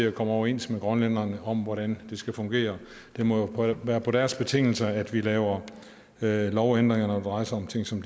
at komme overens med grønlænderne om hvordan det skal fungere det må jo være på deres betingelser at vi laver lovændringer når det drejer sig om ting som